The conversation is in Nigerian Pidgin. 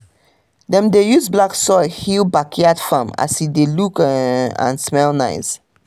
dem dey use black soil heal backyard farm as e dey look um and smell nice